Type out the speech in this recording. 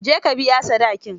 Je ka ka biya sadakin.